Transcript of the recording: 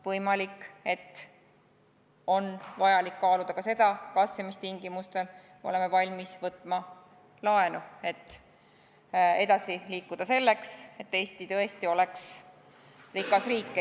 Võimalik, et on vaja kaaluda ka, kas ja mis tingimustel me oleme valmis võtma laenu, et edasi liikuda, selleks et Eesti tõesti oleks rikas riik.